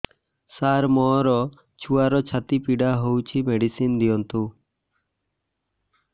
ସାର ମୋର ଛୁଆର ଛାତି ପୀଡା ହଉଚି ମେଡିସିନ ଦିଅନ୍ତୁ